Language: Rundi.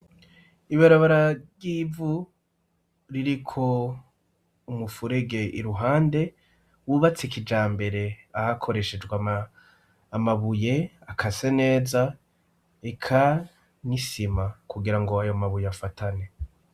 Ibirabara ry'ivu ririko umufurege iruhande wubatse kijambere hakoreshejwe amabuye akase neza, eka n 'isima kugirango ayo mabuye afatane.